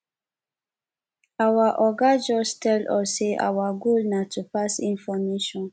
our oga just tell us say our goal na to pass information